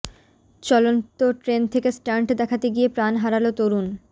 চলন্ত ট্রেন থেকে স্টান্ট দেখাতে গিয়ে প্রাণ হারালো তরুণ